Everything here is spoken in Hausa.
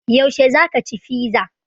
Yaushe za ka ci fiza?